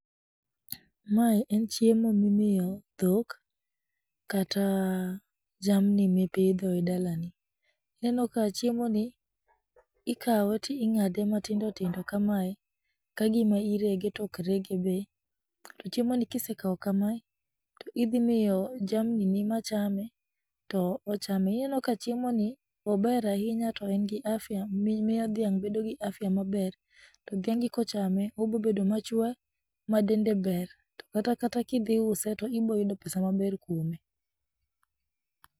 Mae en chiemo mimiyo dhok kata jamni mipidho e dalani, inenoka chiemoni, ikawe ting'ade matindo tindo kamae kagima irege to okregebe, to chiemoni kisekawo kama, to idhimiyo jamnini machame to ochame, inenoka chiemoni, ober ahinya to engi afya miyo dhiang' bedo gi afya maber, to dhiangi kochame to obedo obobedo machwe, madende ber ma kata kidhiuse to iboyudo pesa maber kwome.